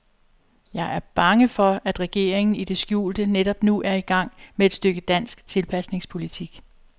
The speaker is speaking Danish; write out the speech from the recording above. Jeg er bange for, at regeringen i det skjulte netop nu er i gang med et stykke dansk tilpasningspolitik.